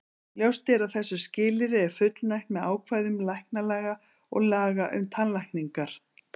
Ljóst er að þessu skilyrði er fullnægt með ákvæðum læknalaga og laga um tannlækningar.